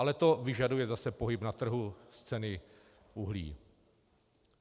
Ale to vyžaduje zase pohyb na trhu ceny uhlí.